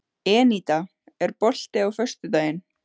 Eníta, er bolti á föstudaginn?